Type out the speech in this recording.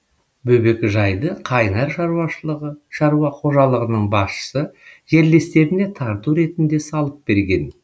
бөбекжайды қайнар шаруа қожалығының басшысы жерлестеріне тарту ретінде салып берген